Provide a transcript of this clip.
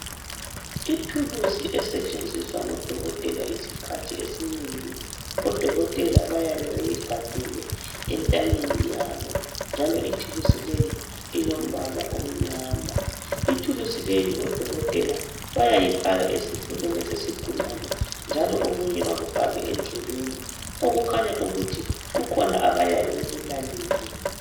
Ithuluzi esetshenziswa ngodokotela isikhathi esinengi . Odokotela bayabe beyigaxile entanyeni yabo njalo ithuluzi leyi ilombala omnyama . Ithuluzi leyi odokotela bayayifaka esifubeni sesigulane njalo okunye bakufake endlebeni okutshengisa ukuthi kukhona abayabe bekulalele.